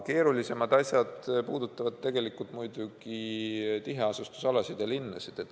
Keerulisemad asjad puudutavad muidugi tiheasustusalasid ja linnasid.